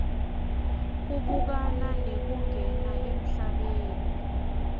kubukana nekungena emhlabeni